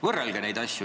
Võrrelge neid asju.